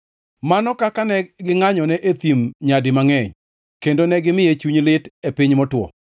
Mano kaka ne gingʼanyone e thim nyadi mangʼeny kendo negimiye chuny lit e piny motwo!